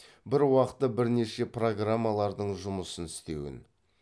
бір уақытта бірнеше программалардың жұмыс істеуін